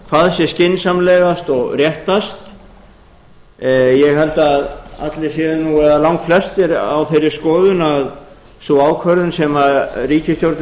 hvað sé skynsamlegast og réttast ég held að allir séu nú eða langflestir á þeirri skoðun að sú ákvörðun sem ríkisstjórnin